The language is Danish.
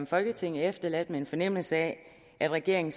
folketing er efterladt med en fornemmelse af at regeringen